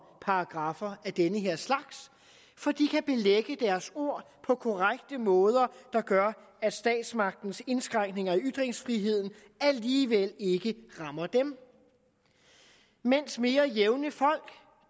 paragraffer af den her slags for de kan belægge deres ord på korrekte måder der gør at statsmagtens indskrænkninger i ytringsfriheden alligevel ikke rammer dem mens mere jævne folk